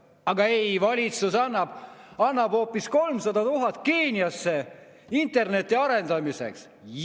Aga ei, valitsus annab hoopis 300 000 eurot Keeniasse interneti arendamiseks.